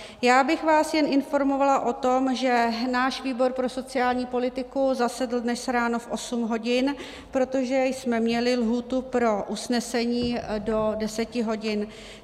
Já bych vás jen informovala o tom, že náš výbor pro sociální politiku zasedl dnes ráno v 8 hodin, protože jsme měli lhůtu pro usnesení do 10 hodin.